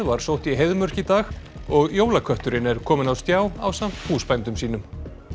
var sótt í Heiðmörk í dag og jólakötturinn er kominn á stjá ásamt húsbændum sínum